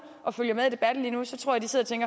og følger med i debatten lige nu tror